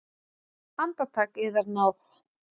Andartak, yðar náð!